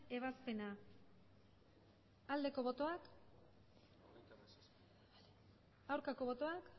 ebazpena aldeko botoak aurkako botoak